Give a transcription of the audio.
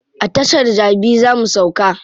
A tashar jabi za mu sauka.